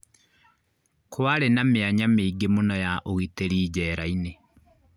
Kwarĩ na mĩanya mĩingĩ mũno ya ũgitĩri njera-inĩ